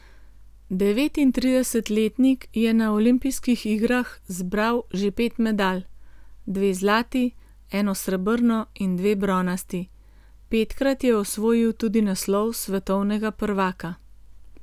Devetintridesetletnik je na olimpijskih igral zbral že pet medalj, dve zlati, eno srebrno in dve bronasti, petkrat je osvojil tudi naslov svetovnega prvaka.